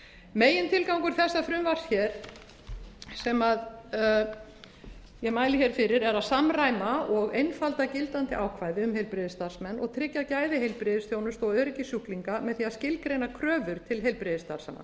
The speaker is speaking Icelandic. megintilgangur þessa frumvarps hér sem ég mæli hér fyrir er að samræma og einfalda gildandi ákvæði um heilbrigðisstarfsmenn og tryggja gæði heilbrigðisþjónustu og öryggi sjúklinga með því að skilgreina kröfur til heilbrigðisstarfsmanna